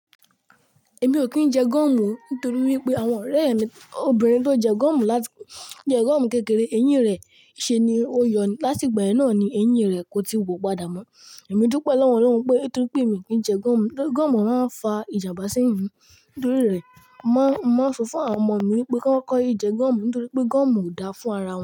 Èmi ò kí ń jẹ gum nítorí wípé àwọn ọ̀rẹ́ mi obìnrin tó jẹ gum láti, tó jẹ gúọ̀mù kékeré, eyín rẹ̀ ṣe ni ó yọ, láti ìgbà yáà ni eyín rẹ̀ kò tí wu padà mọ́. Èmi dúpẹ́ lọ́wọ́ lọ́wọ́ pé etí pé mi kì í jẹ gúọ̀mù, gúọ̀mù máa ń fa ìjàmbá sí eyin mi nítorí rẹ̀. Mo ń, mo ń sọ fún àwọn ọmọ mi wípé kó kọ́ yé jẹ gúọ̀mù nítorí pé gúọ̀mù ò dáa fún ara wọn.